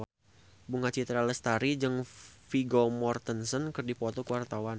Bunga Citra Lestari jeung Vigo Mortensen keur dipoto ku wartawan